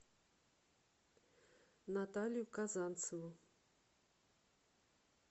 наталью казанцеву